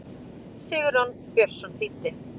Sigurjón Björnsson þýddi.